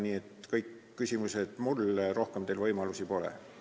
Nii et kõik küsimused tuleb esitada mulle, rohkem teil võimalusi pole.